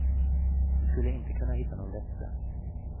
Du skulle inte kunna hitta nån bättre.